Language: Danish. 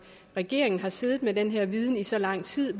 regeringen har siddet med den her viden i så lang tid